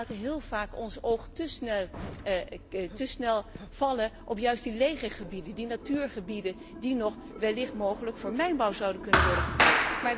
We laten heel vaak ons oog té snel vallen op juist die lege gebieden, die natuurgebieden die nog wellicht mogelijk voor mijnbouw zouden kunnen worden gebruikt.